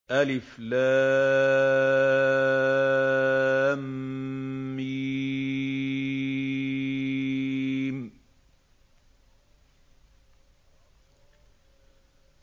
الم